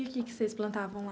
E o que que vocês plantavam lá?